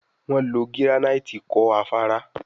Wón ló giranaiti kò Afárá